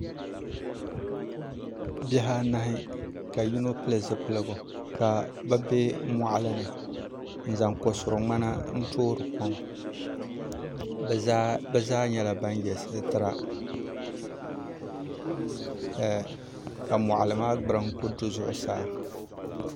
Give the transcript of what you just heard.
Bihi anahi ka yino pili zipiligu ka bi bɛ moɣali ni n zaŋ ko suri ŋmana n toori kom bi zaa nyɛla ban yɛ sitira ka moɣali maa gburiŋ ku du zuɣusaa